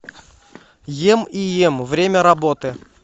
ем и ем время работы